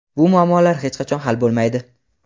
bu muammolar hech qachon hal bo‘lmaydi.